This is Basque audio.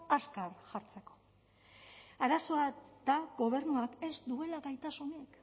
azkar jartzeko arazoa da gobernuak ez duela gaitasunik